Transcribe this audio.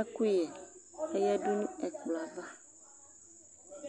ɛkʋyɛ ayǝdʋ nʋ ɛkplɔ yɛ ava